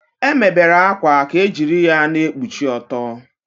E mebere akwa ka ejiri ya na-ekpuchi ọtọ.